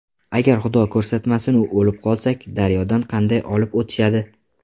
Agar xudo ko‘rsatmasinu o‘lib qolsak, daryodan qanday olib o‘tishadi.